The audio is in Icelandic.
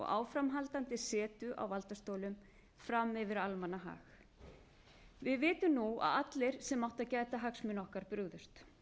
áframhaldandi setu á valdastólum fram yfir almannahag við vitum nú að allir sem áttu að gæta hagsmuna okkar brugðust